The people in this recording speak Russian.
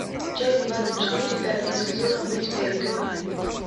часть двадцать четыре пятого сезона быть эрикой